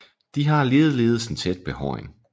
De har ligeledes en tæt behåring